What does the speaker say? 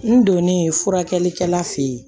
N donnen furakɛlikɛla fe yen